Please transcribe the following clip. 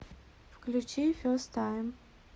включи фест тайм